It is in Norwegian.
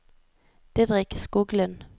Didrik Skoglund